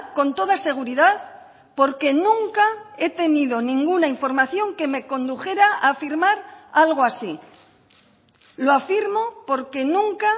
con toda seguridad porque nunca he tenido ninguna información que me condujera a afirmar algo así lo afirmo porque nunca